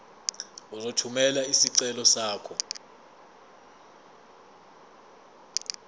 uzothumela isicelo sakho